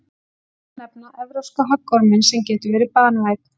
Einnig má nefna evrópska höggorminn sem getur verið banvænn.